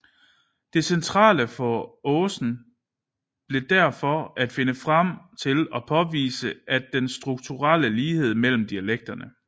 Det centrale for Aasen blev derfor at finde frem til og påvise den strukturelle lighed mellem dialekterne